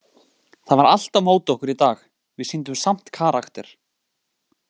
Það var allt á móti okkur í dag, við sýndum samt karakter.